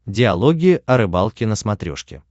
диалоги о рыбалке на смотрешке